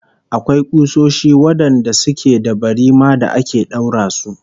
Akwai kusoshi wadanda suke da barima da ake daura su